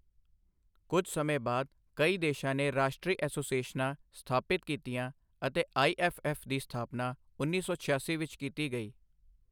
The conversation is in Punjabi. ਕੁਝ ਸਮੇਂ ਬਾਅਦ, ਕਈ ਦੇਸ਼ਾਂ ਨੇ ਰਾਸ਼ਟਰੀ ਐਸੋਸੀਏਸ਼ਨਾਂ ਸਥਾਪਿਤ ਕੀਤੀਆਂ ਅਤੇ ਆਈ.ਐੱਫ.ਐੱਫ ਦੀ ਸਥਾਪਨਾ ਉੱਨੀ ਸੌ ਛਿਆਸੀ ਵਿੱਚ ਕੀਤੀ ਗਈ।